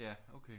Ja okay